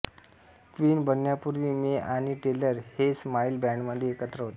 queen बनण्यापूर्वी May आणि Taylor हे स्माईल बॅंडमध्ये एकत्र होते